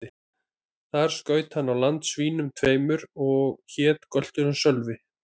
Þar skaut hann á land svínum tveimur, og hét gölturinn Sölvi.